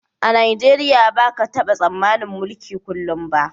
A Najeriya ba ka taba tsammanin mulki kullum ba